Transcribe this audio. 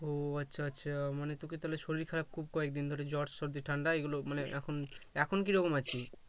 ওহ আচ্ছা আচ্ছা মানে তোর কি তাহলে শরীর খারাপ খুব কয়েকদিন ধরে জ্বর-সর্দি ঠাণ্ডা এইগুলো মানে এখন এখন কিরকম আছিস